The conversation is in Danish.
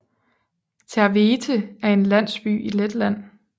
Tērvete er en landsby i Letland